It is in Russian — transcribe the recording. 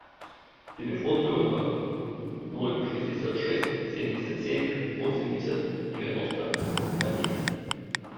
телефон друга ноль шестьдесят шесть семьдесят семь восемьдесят девяносто один